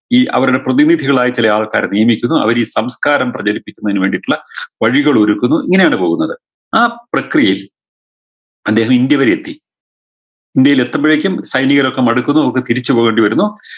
ഈ അവരുടെ പ്രതിനിധികളായി ചില ആൾകാർ വീനിക്കുന്നു അവരീ സംസ്കാരം പ്രചരിപ്പിക്കുന്നതിന് വേണ്ടിയിട്ടുള്ള വഴികളൊരുക്കുന്നു ഇങ്ങനെയാണ് പോകുന്നത് ആ പ്രക്രിയയിൽ അദ്ദേഹം ഇന്ത്യ വരെയെത്തി ഇന്ത്യയിൽ എത്തുമ്പഴേക്കും സൈനികരൊക്കെ മടുക്കുന്നു അവർക്ക് തിരിച്ചു പോകണ്ടി വരുന്നു